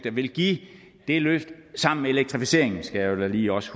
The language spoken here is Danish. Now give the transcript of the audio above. vil give et løft sammen med elektrificeringen som jeg da lige også